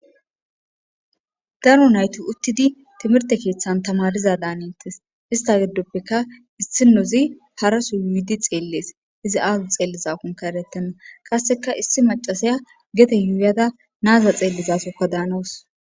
Darro nayti uttida timhirte ketthan thamariza Danetes. Ista giddopheka isnozi haraso mitha tselles, izi aza tsellizakokka eretena. Qaseka is machasiya gede yuyada na'aza tsellizassakka Danaws.